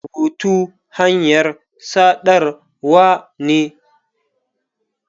Rubutu hanyar saɗarwa ne.